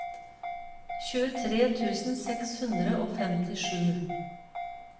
tjuetre tusen seks hundre og femtisju